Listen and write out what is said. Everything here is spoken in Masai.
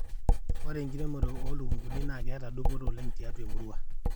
ore enkiremore oo ilukunkuni naa keeta dupoto oleng tiatua emurua